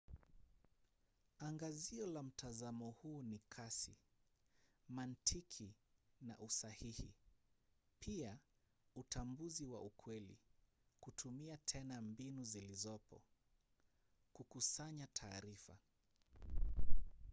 angazio la mtazamo huu ni kasi mantiki na usahihi pia utambuzi wa ukweli kutumia tena mbinu zilizopo kukusanya taarifa